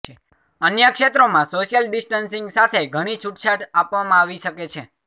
અન્ય ક્ષેત્રોમાં social distancing સાથે ઘણી છૂટછાટ આપવામાં આવી શકે છે